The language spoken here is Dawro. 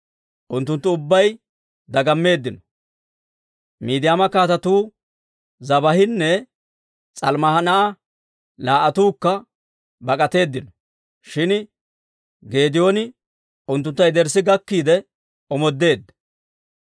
unttunttu ubbay dagammeeddino. Miidiyaama kaatetuu Zebaahinne S'almmunaa'i laa"attuukka bak'atteedino; shin Geedooni unttuntta yederssi gakkiide omoodeedda.